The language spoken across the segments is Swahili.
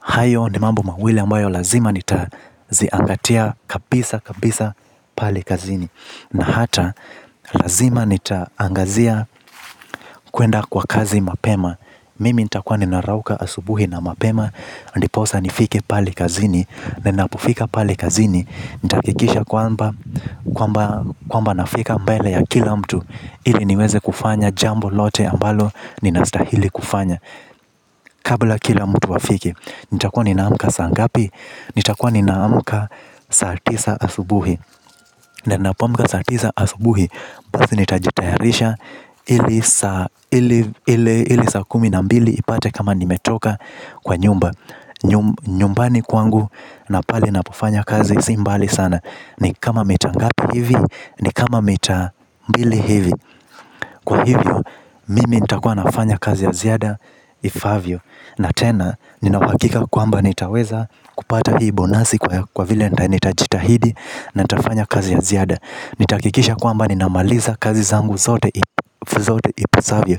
Hayo ni mambo mawili ambayo lazima nita ziangatia kabisa kabisa pale kazini. Na hata, lazima nitaangazia kuenda kwa kazi mapema. Mimi nita kuwa ninarauka asubuhi na mapema ndiposa nifike pali kazini. Nenapufika pali kazini. Nita kikisha kwamba nafika mbele ya kila mtu. Ili niweze kufanya jambo lote ambalo ninasitahili kufanya. Kabla kila mtu afike nita kuwa ninaamuka sangapi. Nita kwa ninaamuka saa tisa asubuhi. Nenapoamuka saatisa asubuhi. Basi nitajitaharisha ili sa kumi na mbili ipate kama nimetoka kwa nyumba nyumbani kwangu na pale napo fanya kazi si mbvali sana ni kama mita ngapi ni kama mita mbili hivi. Kwa hivyo, mimi nitakua nafanya kazi ya ziada ifaavyo. Na tena, ninawakika kwamba nitaweza kupata hii bonasi kwa vile nitajitahidi na nitafanya kazi ya ziada. Nitaakikisha kwamba ninamaliza kazi zangu zote ipasavyo.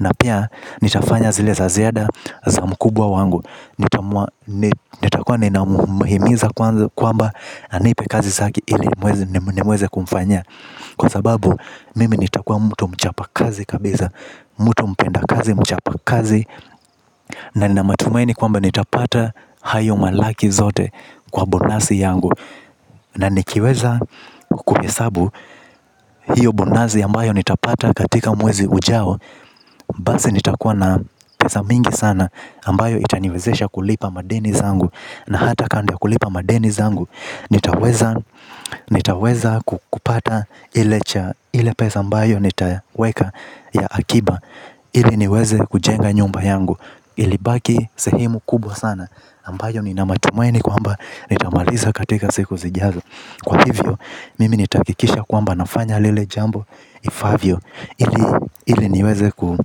Na pia nitafanya zileza ziada za mkubwa wangu. Nitakua ninamuhimiza kwamba anipe kazi zake ili niweze kumfanyia. Kwa sababu mimi nitakua mtu mchapakazi kabiza mtu mpenda kazi mchapa kazi. Na nina matumaini kwamba nitapata hayo malaki zote kwa bonasi yangu. Na nikiweza kukuhesabu hiyo bonasi ambayo nitapata katika mwezi ujao. Basi nitakuwa na pesa mingi sana ambayo itaniwezesha kulipa madeni zangu. Na hata kando ya kulipa madeni zangu. Nitaweza kukupata ile cha ile pesa ambayo nitaweka ya akiba. Ili niweze kujenga nyumba yangu. Ili baki sehemu kubo sana ambayo nina matumaini kwamba nitamaliza katika siku zijazo. Kwa hivyo, mimi nitaakikisha kwamba nafanya lile jambo ifaavyo ili niweze kupa.